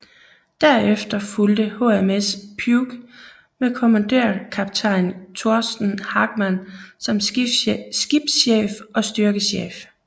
Derefter fulgte HMS Puke med kommandørkaptajn Torsten Hagman som skibschef og styrkechef